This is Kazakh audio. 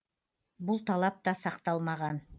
бұл талап та сақталмаған